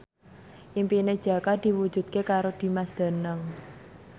impine Jaka diwujudke karo Dimas Danang